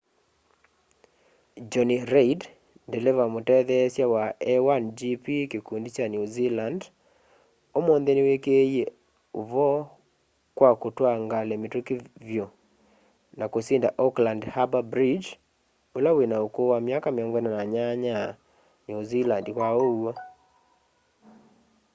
jonny reid ndeleva mũtetheesya wa a1gp kĩkũndĩ kya new zealand ũmũnthĩ nĩwĩkĩĩe ũvoo kwa kũtwaa ngalĩ mĩtũkĩ vyũ na kũsĩnda auckland harbour bridge ũla wĩna ũkũũ wa myaka 48 new zealand kwa ũw'o